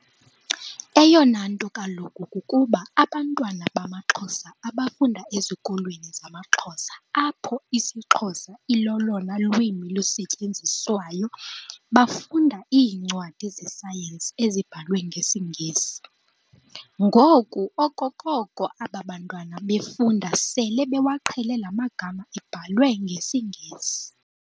Eyona nto kaloku kukuba abantwana bamaXhosa abafunda ezikolweni zamaXhosa apho isiXhosa ilolona lwimi lusetyenziswayo bafunda iincwadi ze-science ezibhalwe ngesiNgesi. Ngoku okokoko aba bantwana befunda sele bewaqhele la magama ebhalwe ngesiNgesi.